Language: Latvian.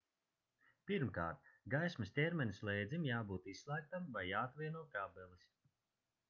pirmkārt gaismas ķermeņa slēdzim jābūt izslēgtam vai jāatvieno kabelis